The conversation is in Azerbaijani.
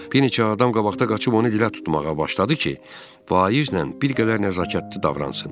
Bir neçə adam qabaqda qaçıb onu dilə tutmağa başladı ki, vaizlə bir qədər nəzakətli davransın.